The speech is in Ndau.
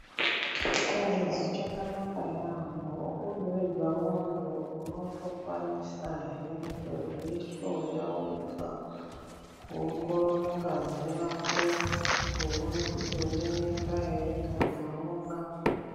Chingezi chakanaka yambo uri wega muntu unotokwanisa he kuzvihloya wega kuongorora ngazi Yako kuona kuti une mimba ere kana kuti auna.